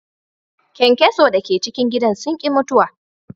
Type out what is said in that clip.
Kyankyaso da ke cikin gidan sun ki mutuwa.